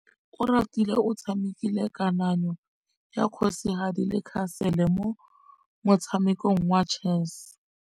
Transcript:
Oratile o tshamekile kananyô ya kgosigadi le khasêlê mo motshamekong wa chess.